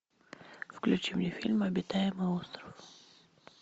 включи мне фильм обитаемый остров